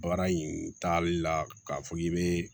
Baara in taali la k'a fɔ k'i bɛ